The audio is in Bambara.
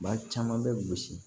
Ba caman bɛ gosi